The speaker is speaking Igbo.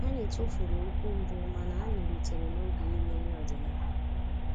Anyị tụfuru okwu mbụ mana anyị rutere noge iri nri ọdịnala